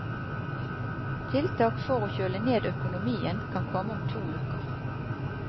Tiltak for å kjøle ned økonomien kan komme om to uker.